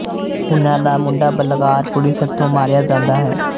ਉਨ੍ਹਾਂ ਦਾ ਮੁੰਡਾ ਬਲਕਾਰ ਪੁਲਿਸ ਹਥੋਂ ਮਾਰਿਆ ਜਾਂਦਾ ਹੈ